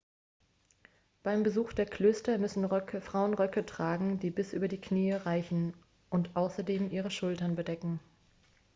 beim besuch der klöster müssen frauen röcke tragen die bis über die knie reichen und außerdem ihre schultern bedecken